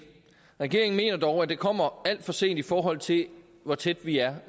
regeringen mener dog at det kommer alt for sent i forhold til hvor tæt vi er